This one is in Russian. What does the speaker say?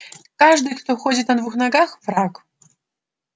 каждый кто ходит на двух ногах враг